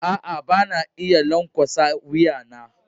Aa, ba na iya lankwasa wuya na.